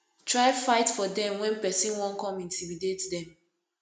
try fight for dem wen pesin wan con intimidate dem